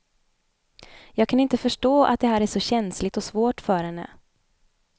Jag kan inte förstå att det här är så känsligt och svårt för henne.